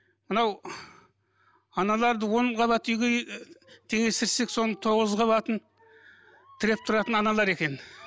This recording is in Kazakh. мынау аналарды он қабатты үйге теңестірсек соның тоғыз қабатын тіреп тұратын аналар екен